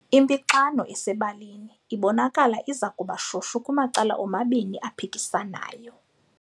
Impixano esebalini ibonakala iza kuba shushu kumacala omabini aphikisanayo.